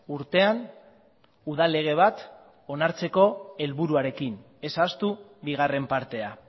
urtean udal lege bat onartzeko helburuarekin ez ahaztu bigarren partea